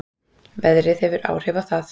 Veðrið hefur áhrif á það